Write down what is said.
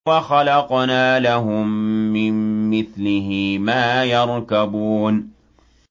وَخَلَقْنَا لَهُم مِّن مِّثْلِهِ مَا يَرْكَبُونَ